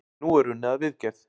Nú er unnið að viðgerð.